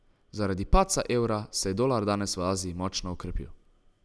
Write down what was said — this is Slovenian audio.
Zaradi padca evra se je dolar danes v Aziji močno okrepil.